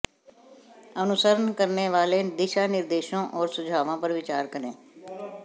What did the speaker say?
अनुसरण करने वाले दिशानिर्देशों और सुझावों पर विचार करें